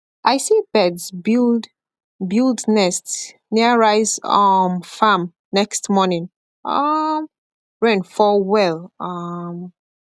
i see birds build build nest near rice um farm next morning um rain fall well um